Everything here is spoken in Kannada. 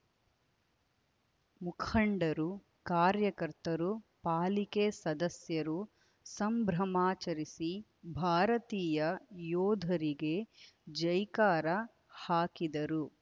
ಮುಖಂಡರು ಕಾರ್ಯಕರ್ತರು ಪಾಲಿಕೆ ಸದಸ್ಯರು ಸಂಭ್ರಮಾಚರಿಸಿ ಭಾರತೀಯ ಯೋಧರಿಗೆ ಜೈಕಾರ ಹಾಕಿದರು